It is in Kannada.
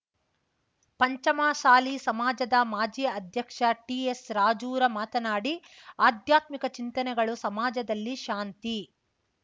ಪಂಚಮಸಾಲಿ ಸಮಾಜದ ಮಾಜಿ ಅಧ್ಯಕ್ಷ ಟಿಎಸ್ ರಾಜೂರ ಮಾತನಾಡಿ ಅಧ್ಯಾತ್ಮಿಕ ಚಿಂತನೆಗಳು ಸಮಾಜದಲ್ಲಿ ಶಾಂತಿ